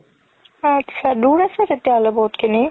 আত্চা দুৰ আছে তেতিয়া হ'লে বহুত খিনি